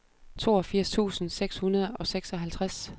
toogfirs tusind seks hundrede og seksoghalvtreds